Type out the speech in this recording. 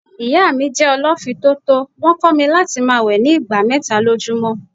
Ìyá mí jẹ́ ọ lọ fì tótó, wón kó mi láti máa wẹ̀ ni ìgbà mẹ́ta lójú mọ́.